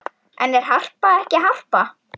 En er Harpa ekki Harpa?